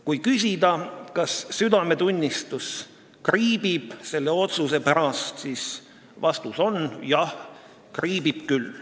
Kui küsida, kas südametunnistus kriibib selle otsuse pärast, siis vastus on: jah, kriibib küll.